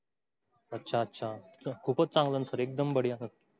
अच्छा अच्छा. खूप चंगला एकदम बडिया.